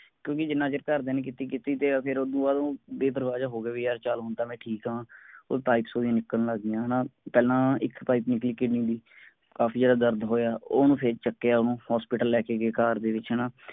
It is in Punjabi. ਕਿਉਂਕਿ ਜਿੰਨਾ ਚਿਰ ਘਰਦਿਆਂ ਨੇ ਕਿੱਤੀ ਕਿੱਤੀ ਫੇਰ ਓਦੋਂ ਬਾਅਦ ਉਹ ਬੇਪ੍ਰਵਾਹ ਜੇਹਾ ਹੋਗਿਆ ਕਿ ਚਲ ਹੁਣ ਤਾਂ ਮੈਂ ਠੀਕ ਆਂ ਉਹ pipes ਓਹਦੀਆਂ ਨਿਕਲਣ ਲੱਗ ਗਈਆਂ ਪਹਿਲਾਂ ਇੱਕ ਪਾਈਪ ਨਿਕਲੀ ਕਿਡਨੀ ਦੀ ਕਾਫੀ ਜ਼ਿਆਦਾ ਦਰਦ ਹੋਇਆ ਓਹਨੂੰ ਫੇਰ ਚੁਕਿਆ ਓਹਨੂੰ hospital ਲੈ ਕੇ car ਦੇ ਵਿਚ ਹੈਨਾ